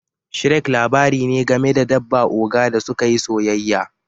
Shrek' labari ne game da dabba oga da suka yi soyayya.